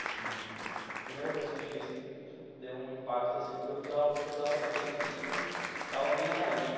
Assim, a primeira coisa que a gente fez que deu um impacto, assim, porque eu precisava precisava saber que estava meio caído.